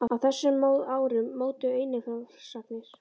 Á þessum árum mótuðu einnig frásagnir